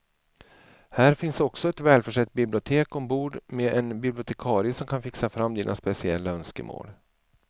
Här finns också ett välförsett bibliotek ombord med en bibliotekarie som kan fixa fram dina speciella önskemål.